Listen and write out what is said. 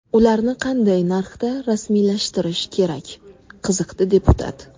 Ularni qanday narxda rasmiylashtirish kerak?” qiziqdi deputat.